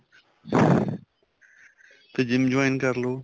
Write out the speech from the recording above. ਤੇ GYM join ਕਰਲੋ